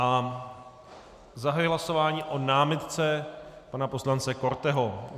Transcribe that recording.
A zahajuji hlasování o námitce pana poslance Korteho.